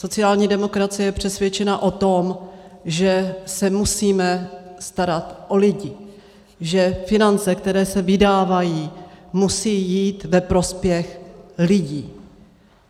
Sociální demokracie je přesvědčena o tom, že se musíme starat o lidi, že finance, které se vydávají, musí jít ve prospěch lidí.